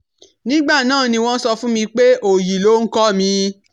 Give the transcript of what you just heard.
Nígbà náà ni wọ́n sọ fún mi pé òòyì loh ń kọ́ mi